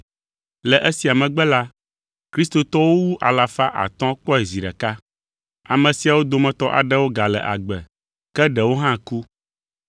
Le esia megbe la, kristotɔwo wu alafa atɔ̃ kpɔe zi ɖeka. Ame siawo dometɔ aɖewo gale agbe, ke ɖewo hã ku.